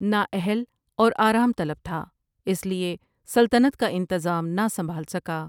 نااہل اور آرام طلب تھا اس لیے سلطنت کا انتظام نہ سنبھال سکا ۔